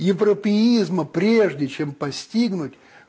европеизма прежде чем постигнуть